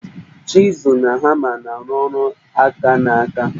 Chizụl na hama na arụ ọrụ aka n'aka.